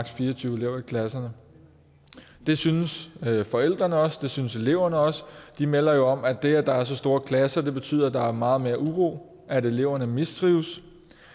fire og tyve elever i klasserne det synes forældrene også og det synes eleverne også de melder jo om at det at der er så store klasser betyder at der er meget mere uro at eleverne mistrives